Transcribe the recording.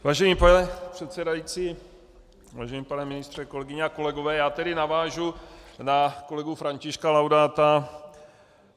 Vážený pane předsedající, vážený pane ministře, kolegyně a kolegové, já tedy navážu na kolegu Františka Laudáta.